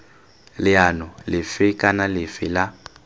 leano lefe kana lefe la